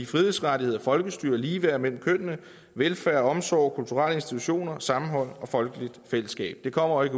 frihedsrettigheder folkestyre og ligeværd mellem kønnene velfærd omsorg kulturelle institutioner sammenhold og folkeligt fællesskab det kommer jo